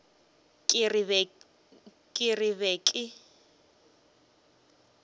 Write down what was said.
ke re ke be ke